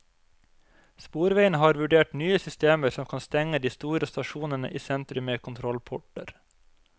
Sporveiene har vurdert nye systemer som kan stenge de store stasjonene i sentrum med kontrollporter.